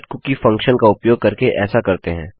setcookie function का उपयोग करके ऐसा करते हैं